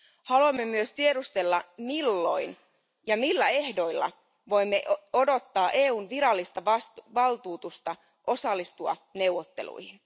Haluamme myös tiedustella, milloin ja millä ehdoilla voimme odottaa EUn virallista valtuutusta osallistua neuvotteluihin.